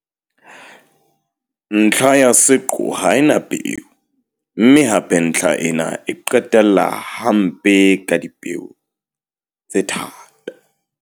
Ntlha ya seqo ha e na peo, mme hape ntlha ena e qetella hampe ka dipeo tse thata.